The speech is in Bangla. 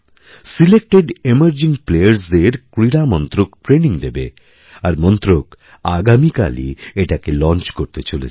সিলেক্টেড এমার্জিংপ্লেয়ার্সদের ক্রীড়া মন্ত্রক ট্রেনিং দেবে আর মন্ত্রক আগামীকালই এটাকে লঞ্চ করতেচলেছে